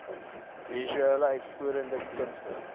visuele uitvoerende kunste